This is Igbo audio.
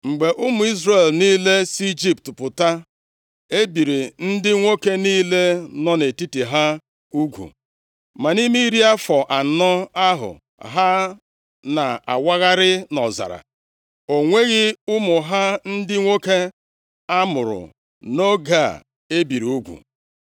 Mgbe ụmụ Izrel niile si Ijipt pụta, e biri ndị nwoke niile nọ nʼetiti ha ugwu. Ma nʼime iri afọ anọ ahụ ha na-awagharị nʼọzara, o nweghị ụmụ ha ndị nwoke a mụrụ nʼoge a e biri ugwu.